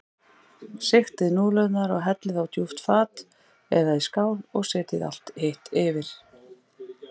Sigtið núðlurnar og hellið á djúpt fat eða í skál og setjið allt hitt yfir.